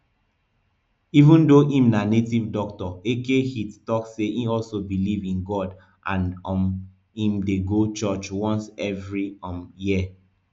even though im na native doctor eke hit tok say e also believe in god and um im dey go church once evri um year